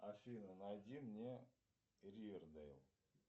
афина найди мне ривердейл